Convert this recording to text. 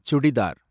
churidar